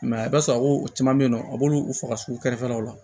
a b'a sɔrɔ u caman bɛ yen nɔ a b'olu faga so kɛrɛfɛlaw la